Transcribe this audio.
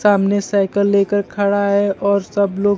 सामने साइकल लेकर खड़ा है और सब लोग--